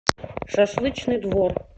шашлычный двор